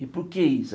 E por que isso?